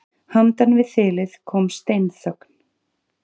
Handan við þilið kom steinþögn.